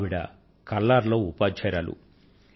ఆవిడ కల్లార్ లో ఉపాధ్యాయురాలు